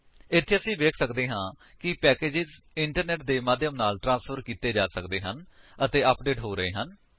ਇੱਥੇ ਅਸੀ ਵੇਖ ਸਕਦੇ ਹਾਂ ਕਿ ਪੈਕੇਜਸ ਇੰਟਰਨੇਟ ਦੇ ਮਾਧਿਅਮ ਨਾਲ ਟ੍ਰਾਂਸਫ਼ਰ ਕੀਤੇ ਜਾ ਸਕਦੇ ਹਨ ਅਤੇ ਅਪਡੇਟ ਹੋ ਰਹੇ ਹਨ